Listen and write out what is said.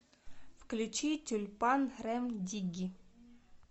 включи тюльпан рем дигги